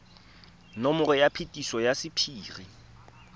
nomoro ya phetiso ya sephiri